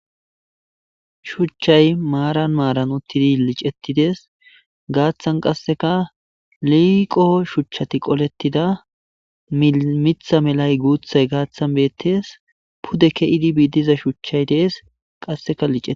shuchchay maaran maaran uttidi liicettides gaaththan qasseka liiqo shuchchati qolettida mitha melay guuthay gaaththan beettes pudde ke7idi biidiza shuchchay dees qasseka lice